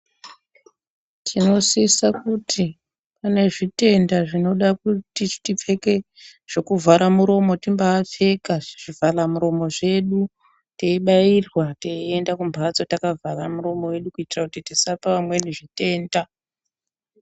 Tinosisa kuti kune zvitenda zvinoda kuti tipfeke zvokuvhara muromo timbaa pfeka zvivhara mulomo zvedu teibairwa teienda kumbatso takavhara milomo yedu kuitira kuti tisapa vamweni zvitenda.